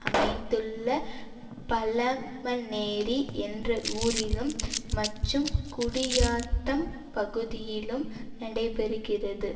அமைந்துள்ள பழ மனேரி என்ற ஊரிலும் மற்றும் குடியாத்தம் பகுதியிலும் நடைபெறுகிறது